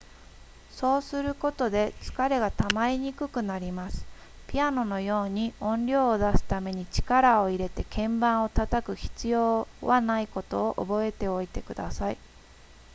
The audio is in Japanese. そうすることで疲れがたまりにくくなりますピアノのように音量を出すために力を入れて鍵盤を叩く必要はないことを覚えておいてください